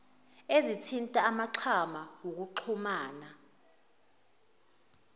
ezithinta amaxhama okuxhumana